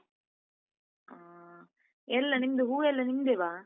ಹಾ ಎಲ್ಲ ನಿಮ್ದು ಹೂವೆಲ್ಲ ನಿಮ್ದೆವಾ?